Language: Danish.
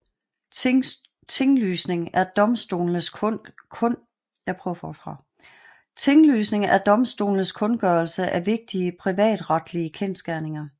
Tinglysning er domstolenes kundgørelse af vigtige privatretlige kendsgerninger